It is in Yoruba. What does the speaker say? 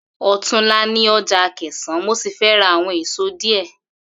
Ò̩túnla ni o̩jà Akè̩sán mo sì fé̩ ra àwo̩n èso díè̩